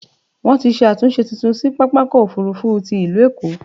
Wọ́n ti ṣe àtúnṣe tuntun sí pápákọ̀-òfurufú ti il̀ú Èkó.